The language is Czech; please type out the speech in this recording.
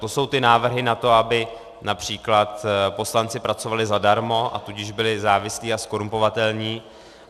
To jsou ty návrhy na to, aby například poslanci pracovali zadarmo, a tudíž byli závislí a zkorumpovatelní.